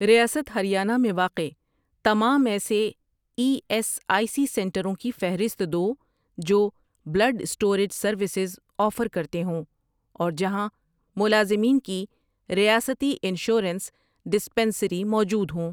ریاست ہریانہ میں واقع تمام ایسے ای ایس آئی سی سنٹروں کی فہرست دو جو بلڈ اسٹوریج سروسز آفر کرتے ہوں اور جہاں ملازمین کی ریاستی انشورنس ڈسپنسری موجود ہوں۔